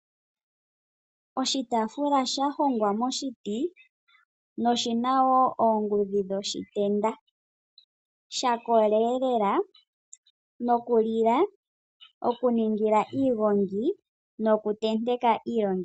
Oshitafula sha hongwa moshiti noshina oongudhi dhoshitenda shakola lela nokulila, okuningila iigongi nokuntenteka iilongithomwa.